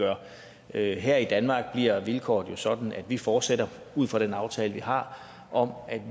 jeg i her i danmark bliver vilkårene jo sådan at vi fortsætter ud fra den aftale vi har om at vi